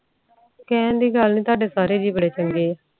ਕਹਿਣ ਦੀ ਗੱਲ ਨੀ ਤੁਹਾਡੇ ਸਾਰੇ ਜੀ ਬੇਰੀ ਚੰਗੇ ਆ